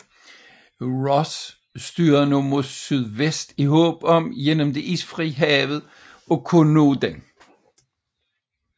Ross styrede nu mod syvest i håb om gennem det isfrie hav at kunne nå den